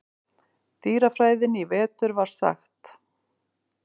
dýrafræðinni í vetur var sagt.